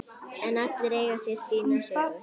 En allir eiga sína sögu.